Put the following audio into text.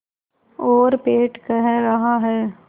और पेट कह रहा है